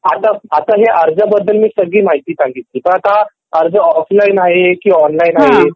हो आता हे अर्जबद्दल मी सगळी माहिती सांगितली पण आता अर्ज ऑफलाईन आहे की ऑनलाईन आहे